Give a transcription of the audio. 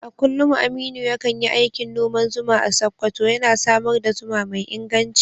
A kullum Aminu ya kan yi aikin noman zuma a Sakkwato, yana samar da zuma mai inganci.